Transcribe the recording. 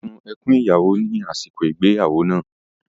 Ó sun ẹkún ìyàwó ní àsìkò ìgbéyàwó náà.